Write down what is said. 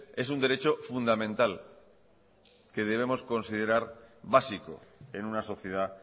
es un derecho fundamental que debemos considerar básico en una sociedad